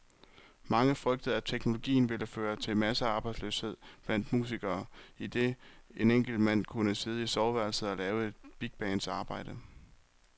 Mange frygtede, at teknologien ville føre til massearbejdsløshed blandt musikere, idet en enkelt mand kunne sidde i soveværelset og lave et bigbands arbejde.